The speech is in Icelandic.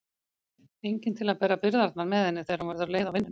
Enginn til að bera byrðarnar með henni þegar hún verður leið á vinnunni.